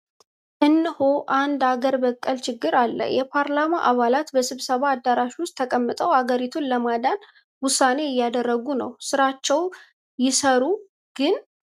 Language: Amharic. እነሆ! አንድ አገር በቀል ችግር አለ! የፓርላማ አባላት በስብሰባ አዳራሽ ውስጥ ተቀምጠው አገሪቱን ለማዳን ውሳኔ እያደረጉ ነው! ሥራቸውን ይሠሩ ግን.!